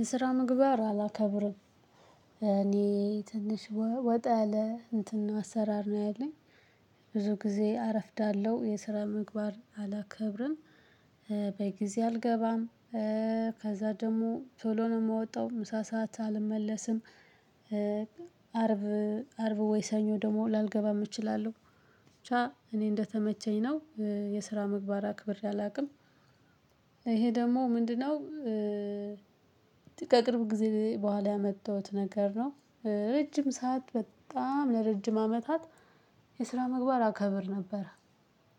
የስራ ምግባር አላከብርም እኔ ትንሽ ወጣ ያለ እንትን አሰራር ነው ያለኝ። ብዙ ጊዜ አረፍዳለሁ የስራ ምግባር አላከብርም። በጊዜ አልገባም። ከዛ ደግሞ ቶሎ ነው የምወጣው ምሳ ሰዓት አልመለስም። አርብ አርብ ወይ ሰኞ ደግሞ ላልገባ እችላለሁ ብቻ እኔ እንደተመቸኝ ነው የስራ ምግባር አክብሬ አላውቅም። ይሄ ደግሞ ምንድነው? ከቅርብ ጊዜ በኋላ ያመጣሁት ነገር ነው። ረጅም ሰዓት በጣም ለረጅም አመታት የስራ ምግባር አከብር ነበረ።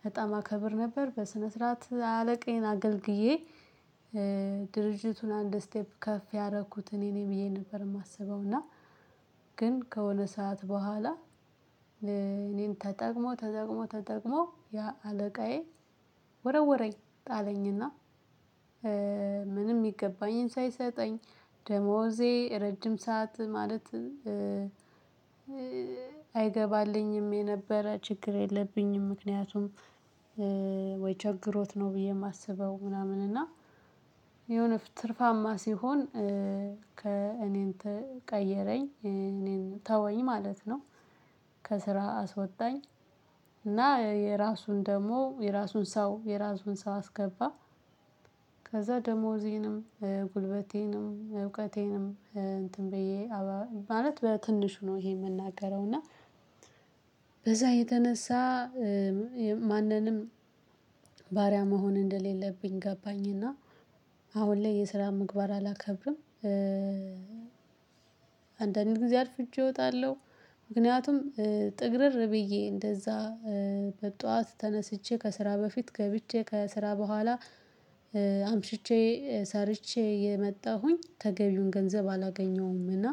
በጣም አከብር ነበር በስነ ስርዓት አለቃዬን አገልግዬ። ድርጅቱን አንድ ስቴፕ ከፍ ያደረኩት እኔ ነኝ ብዬ ነበር የማስበው እና። ግን ከሆነ ሰዓት በኋላ እኔን ተጠቅሞ ተጠቅሞ ተጠቅሞ ያ አለቃዬ ወረወረኝ ጣለኝና። ምንም የሚገባኝን ሳይሰጠኝ። ደሞዜ ረጅም ሰዓት ማለት አይገባልኝም የነበረ ችግር የለብኝም። ምክንያቱም ወይ ቸግሮት ነው ብዬ የማስበው ምናምን እና የሆነ ትርፋማ ሲሆን እኔን ቀየረኝ እኔን ተወኝ ማለት ነው። ከስራ አስወጣኝ። እና የራሱን ደግሞ የራሱን ሰው የራሱን ሰው አስገባ። ከዛ ደሞዜንም ጉልበቴንም እውቀቴንም እንትን ብዬ ማለት በትንሹ ነው ይሄ የምናገረው እና። የተነሳ ማንንም ባሪያ መሆን እንደሌለብኝ ገባኝ። እና አሁን ላይ የስራ ምግባር አላከብርም። አንዳንድ ጊዜ አርፍጄ እወጣለሁ። ምክንያቱም ጥግርር ብዬ እንደዛ በጠዋት ተነስቼ ከስራ በፊት ገብቼ ከስራ በኋላ አምሽቼ ሰርቼ የመጣሁኝ ተገቢውን ገንዘብ አላገኘሁምና።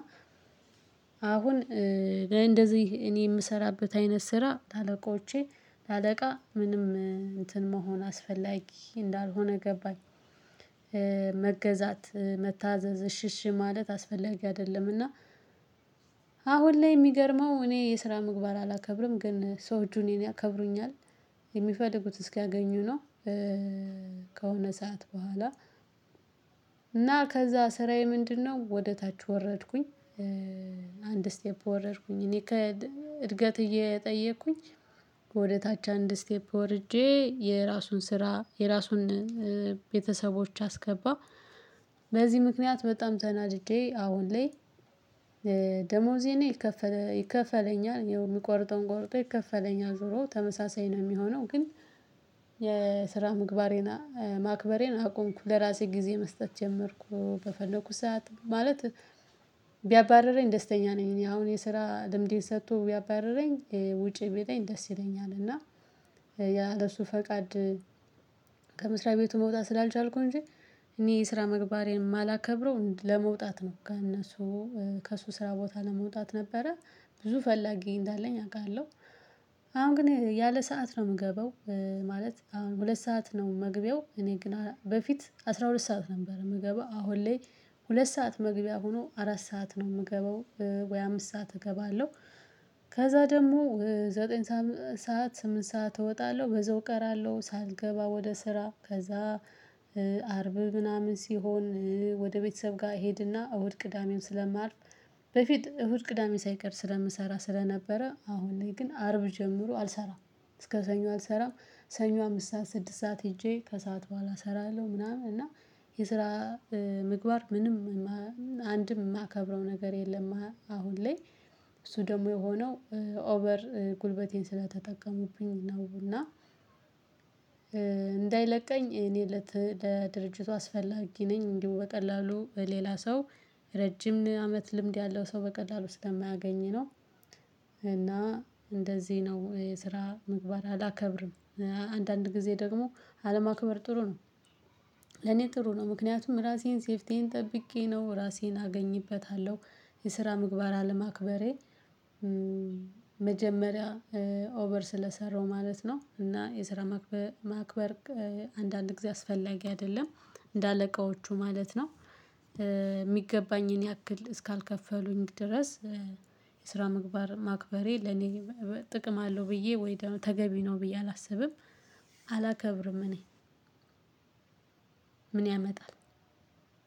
አሁን እንደዚህ እኔ የምሰራበት አይነት ስራ ለአለቆቼ ለአለቃ ምንም እንትን መሆን አስፈላጊ እንዳልሆነ ገባኝ። መገዛት መታዘዝ እሽሽ ማለት አስፈለጊ አይደለምና። አሁን ላይ የሚገርመው እኔ የስራ ምግባር አላከብርም ግን ሰዎቹ እኔን ያከብሩኛል። የሚፈልጉት እስኪያገኙ ነው። ከሆነ ሰዓት በኋላ እና ከዛ ስራዬ ምንድነው ወደ ታች ወረድኩኝ። አንድ ስቴፕ ወረድኩኝ እኔ እድገት እየጠየቅኩኝ ወደ ታች አንድ ስቴፕ ወርጄ የራሱን ስራ የራሱን ቤተሰቦች አስገባ። በዚህ ምክንያት በጣም ተናድጄ አሁን ላይ። ይከፈለኛል የሚቆርጠውን ቆርጦ ይከፈለኛል ዞሮ ተመሳሳይ ነው የሚሆነው ግን። የስራ ምግባሬን ማክበሬን አቆምኩ ለራሴ ጊዜ መስጠት ጀመርኩ በፈለኩት ሰዓት ማለት። ቢያባርረኝ ደስተኛ ነኝ። እኔ አሁን የስራ ልምዴን ሰጥቶ ቢያባርረኝ ውጪ ቢለኝ ደስ ይለኛል። እና ያ ለሱ ፈቃድ። ከመስሪያ ቤቱ መውጣት ስላልቻልኩ እንጂ። እኔ ስራ ምግባሬን የማላከብረው ለመውጣት ነው ከእነሱ ከእሱ ስራ ቦታ ለመውጣት ነበረ። ብዙ ፈላጊ እንዳለኝ አውቃለሁ። አሁን ግን ያለ ሰዓት ነው የምገባው ማለት አሁን ሁለት ሰዓት ነው መግቢያው እኔ ግን በፊት አስራ ሁለት ሰዓት ነበር የምገባው አሁን ላይ። ሁለት ሰዓት መግቢያ ሆኖ አራት ሰዓት ነው የምገባው ወይ አምስት ሰዓት እገባለሁ። ከዛ ደግሞ ዘጠኝ ሰዓት ስምንት ሰዓት እወጣለሁ በዛው እቀራለሁ ሳልገባ ወደ ስራ ከዛ ምናምን ሲሆን ወደ ቤተሰብ ጋር እሄድና እሁድ ቅዳሜም ስለማርፍ በፊት እሁድ ቅዳሜ ሳይቀር ስለምሰራ ስለነበረ አሁን ላይ ግን አርብ ጀምሮ አልሰራም። እስከ ሰኞ አልሰራም። ሰኞ አምስት ሰዓት ስድስት ሰዓት ሄጄ ከሰአት በኋላ እሰራለሁ ምናምን እና። የስራ ምግባር ምንም አንድም የማከብረው ነገር የለም አሁን ላይ። እሱ ደግሞ የሆነው ኦቨር ጉልበቴን ስለተጠቀሙብኝ ነው እና። እንዳይለቀኝ እኔ ለድርጅቱ አስፈላጊ ነኝ እንዲሁ በቀላሉ በሌላ ሰው ረጅም አመት ልምድ ያለው ሰው በቀላሉ ስለማያገኝ ነው። እና እንደዚህ ነው የስራ ምግባር አላከብርም። አንዳንድ ጊዜ ደግሞ አለማክበር ጥሩ ነው። ለኔ ጥሩ ነው ምክንያቱም ራሴን ሴፍቲዬን ጠብቄ ነው ራሴን አገኝበታለሁ። የስራ ምግባር አለማክበሬ። መጀመሪያ ኦቨር ስለሰራው ማለት ነው እና የስራ ማክበር አንዳንድ ጊዜ አስፈላጊ አይደለም። እንደ አለቆቹ ማለት ነው። የሚገባኝን ያክል እስካልከፈሉኝ ድረስ የስራ ምግባር ማክበሬ ለኔ ጥቅም አለው ብዬ ወይ ተገቢ ነው ብዬ አላስብም። አላከብርም እኔ። ምን ያመጣል?